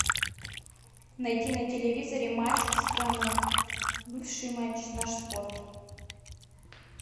найти на телевизоре матч страна бывший матч наш спорт